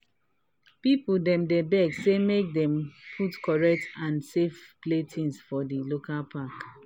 people dem dey beg say make dem put correct and safe play things for the local park.